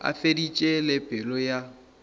a feditše le pelo ya